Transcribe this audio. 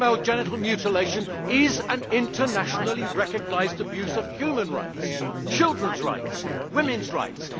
Female genital mutilation is an internationally recognised abuse of human rights, children's rights and women's rights.